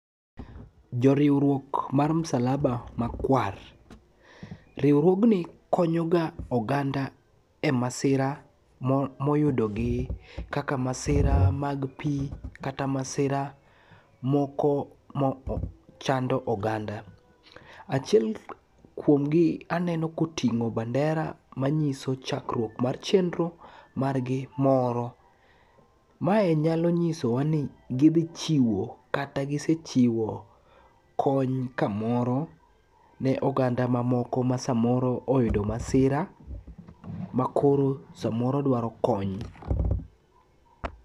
Joriwruok mar msalaba makwar, riwruogni konyoga oganda e masira moyudogi kaka masira mag pi, kata masira moko machando oganda. Achiel kuomgi aneno koting'o bandera manyiso chakruok mar chenro margi moro. Mae nyalo nyisowa ni gidhi chiwo kata gisechiwo kony kamoro ne oganda mamoko ma samoro oyudo masira makoro samoro dwaro kony.